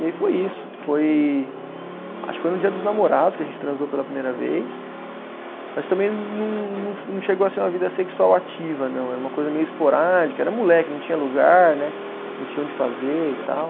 E aí foi isso, foi, acho que foi no dia dos namorados que a gente transou pela primeira vez, mas também não não fo, não chegou a ser uma vida sexual ativa não, era uma coisa meio esporádica, era moleque, não tinha lugar, né, não tinha onde fazer e tal.